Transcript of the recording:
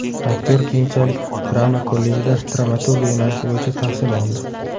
Aktyor keyinchalik drama kollejida dramaturgiya yo‘nalishi bo‘yicha tahsil oldi.